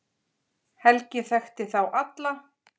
Helgi þekkti þá alla.